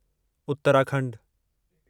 उत्तराखंडु